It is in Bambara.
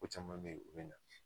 Ko caman be ye o be na